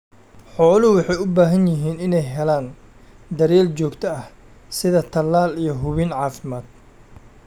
Xooluhu waxay u baahan yihiin inay helaan daryeel joogto ah sida talaal iyo hubin caafimaad.